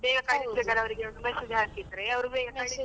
Speaker 2: ಬೇಗ ಅವರಿಗೆ ಒಂದು message ಹಾಕಿದ್ರೆ ಅವರು ಬೇಗ .